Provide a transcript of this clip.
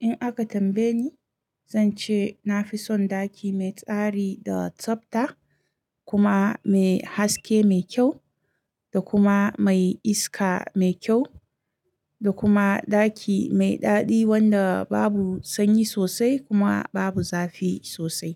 In aka tambaye ni, zan ce na fi son ɗaki mai tsari da tsabta kuma mai haske mai kyau da kuma mai iska mai kyau da kuma ɗaki mai daɗi wanda babu sanyi sosai kuma babu zafi sosai.